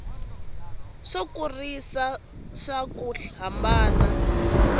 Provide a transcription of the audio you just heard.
swo kurisa swa ku hambana